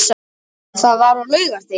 Það var á laugardegi.